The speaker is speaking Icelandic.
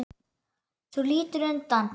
Þú lítur undan.